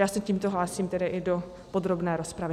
Já se tímto hlásím tedy i do podrobné rozpravy.